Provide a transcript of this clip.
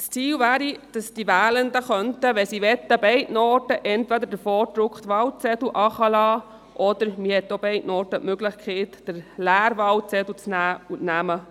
Das Ziel wäre es, dass die Wählenden, wenn sie möchten, in beiden Fällen entweder den vorgedruckten Wahlzettel einwerfen könnten oder in beiden Fällen den leeren Wahlzettel, mit Auflisten der Namen.